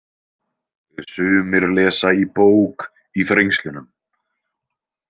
Sumir lesa í bók í þrengslunum.